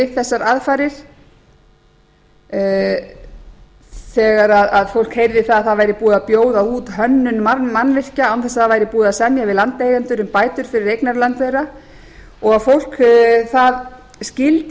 við þessar aðfarir þegar fólk heyrði að að það væri búið að bjóða út hönnun mannvirkja án þess að búið væri að semja við landeigendur um bætur fyrir eignarlönd þeirra og fólk skildi